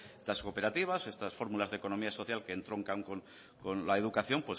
las cooperativas estas fórmulas de economía social que entroncan con la educación